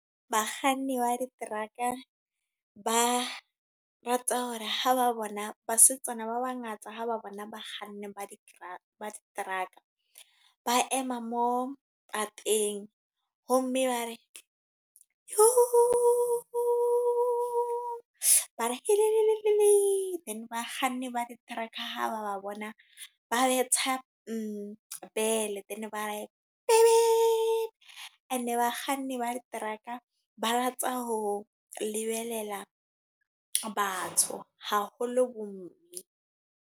Bakganni ba di-truck-a. Ba rata hore ha ba bona, basetsana ba bangata ha ba bona ba kganni ba di-truck-a, ba ema mo pateng. Ho mme ba re bare . Then ba kganni ba di-truck-a ha ba bona ba betha bell then ba re . E ne bakganni ba di-truck-a ba rata ho lebelela batho. Haholo bo mme.